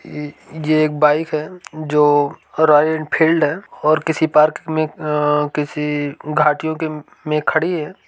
ए ये एक बाइक है जो रॉयल एनफील्ड है और किसी पार्क में अअअ किसी घाटी के में खड़ी है।